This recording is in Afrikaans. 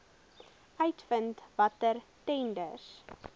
uitvind watter tenders